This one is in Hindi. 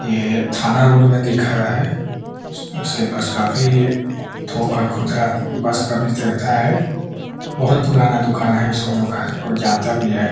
ये थाना रोड में दिख रहा है । उसके पास काफी थोक और खुदरा वस्त्र का विक्रेता है । बहोत पुराना दुकान है इसको लोग को जानता भी है ।